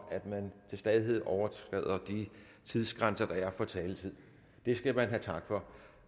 at man til stadighed overtræder de tidsgrænser der er for taletiden det skal man have tak for